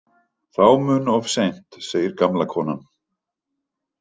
Þá mun of seint, segir gamla konan.